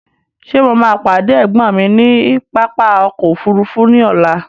Ṣé mo máa pàdé ẹ̀gbọ́n mi ní pápá ọkọ̀ òfúrúúfú ní ọ̀la?